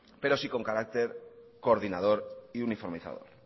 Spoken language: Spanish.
pero sí con carácter coordinador y uniformizador